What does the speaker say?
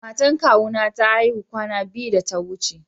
Matan kawu na ta aihu kwana biyu ta ya wuce.